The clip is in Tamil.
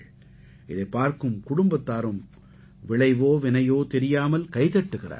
இதைப் பார்க்கும் குடும்பத்தாரும் விளைவோ வினையோ தெரியாமல் கைதட்டுகிறார்கள்